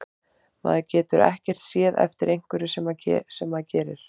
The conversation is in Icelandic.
Maður getur ekkert séð eftir einhverju sem maður gerir.